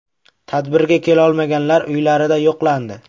Tadbirga kelolmaganlar uylarida yo‘qlandi.